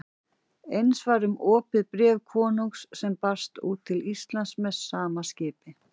Eins var um opið bréf konungs sem barst út til Íslands með sama skipi.